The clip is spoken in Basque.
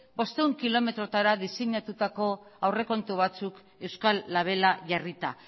bostehun kilometrotara diseinatutako aurrekontu batzuk euskal labela jarrita